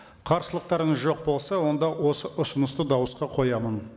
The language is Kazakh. қарсылықтарыңыз жоқ болса онда осы ұсынысты дауысқа қоямын